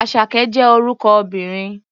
Àṣàkẹ́ jẹ́ orúkọ obìnrin.